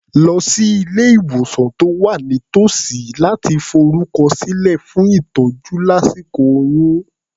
Lọ sí ilé-ìwòsàn tó wà nítòsí láti forúkọsílẹ̀ fún ìtọ́jú lásíkò oyún.